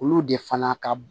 Olu de fana ka b